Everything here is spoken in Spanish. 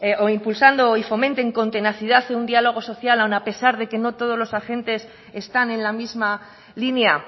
o impulsando y fomenten con tenacidad un diálogo social aun a pesar de que no todos los agentes están en la misma línea